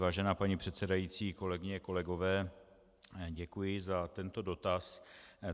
Vážená paní předsedající, kolegyně, kolegové, děkuji za tento dotaz.